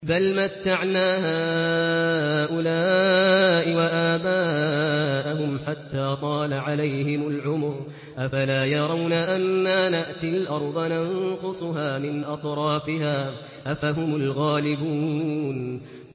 بَلْ مَتَّعْنَا هَٰؤُلَاءِ وَآبَاءَهُمْ حَتَّىٰ طَالَ عَلَيْهِمُ الْعُمُرُ ۗ أَفَلَا يَرَوْنَ أَنَّا نَأْتِي الْأَرْضَ نَنقُصُهَا مِنْ أَطْرَافِهَا ۚ أَفَهُمُ الْغَالِبُونَ